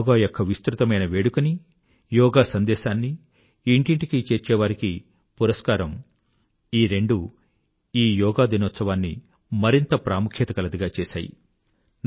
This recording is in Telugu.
యోగా యొక్క విస్తృత సెలబ్రేషన్ మరియు యోగా సందేశాన్ని ఇంటింటికీ చేర్చేవారికి పురస్కారం ఈ రెండూ ఈ యోగా డే ను మరింత ప్రాముఖ్యత గలదిగా చేశాయి